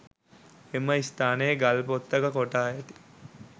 එම ස්ථානයේ ගල්පොත්තක කොටා ඇති